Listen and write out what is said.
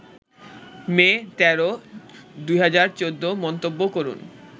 মে ১৩, ২০১৪ মন্তব্য করুন